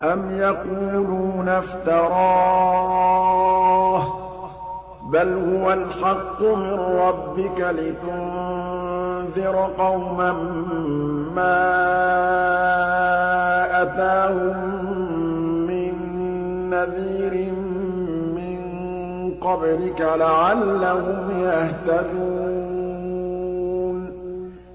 أَمْ يَقُولُونَ افْتَرَاهُ ۚ بَلْ هُوَ الْحَقُّ مِن رَّبِّكَ لِتُنذِرَ قَوْمًا مَّا أَتَاهُم مِّن نَّذِيرٍ مِّن قَبْلِكَ لَعَلَّهُمْ يَهْتَدُونَ